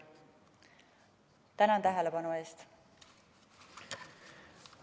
Tänan tähelepanu eest!